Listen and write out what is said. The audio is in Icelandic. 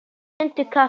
Sjöundi kafli